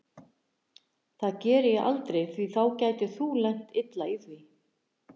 Það geri ég aldrei því þá gætir þú lent illa í því.